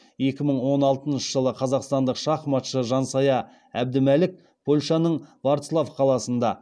екі мың алтыншы жылы қазақстандық шахматшы жансая әбдімәлік польшаның вроцлав қаласында